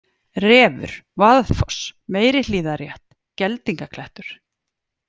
Refur, Vaðfoss, Meirihlíðarrétt, Geldingaklettur